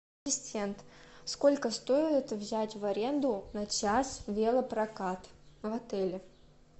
ассистент сколько стоит взять в аренду на час велопрокат в отеле